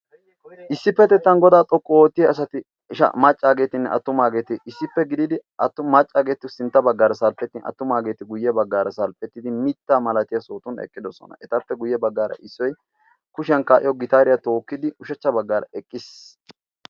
issippe tettan godaa xoqqu oottiya asati maccaageetinne attumaageeti issippe gididi attu maccaageeti sintta baggaara salppettin attumaageeti guyye baggaara salphphettidi mitta malatiyaa sootun eqqidosona etappe guyye baggaara issoi kushiyan kaa'iyo gitaariyaa tookkidi ushachcha baggaara eqqiis?